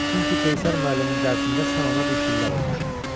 Çünki Qeysər müəllimin dərsində sən ona bir şillə vurmuşdun.